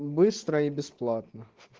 быстро и бесплатно